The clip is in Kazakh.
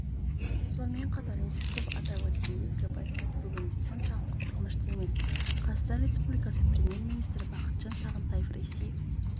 сонымен қатар нерсесов атап өткендей гепатит бүгінде соншалықты қорқынышты емес қазақстан республикасының премьер-министрі бақытжан сағынтаев ресей